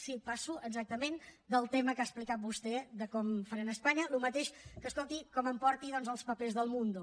sí passo exactament del tema que ha explicat vostè de com ho faran a espanya el mateix que escolti com em porti doncs els papers d’el mundo